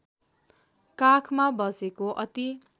काखमा बसेको अति